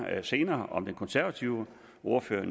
senere om den nye konservative ordfører